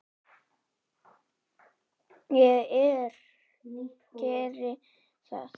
Ég geri það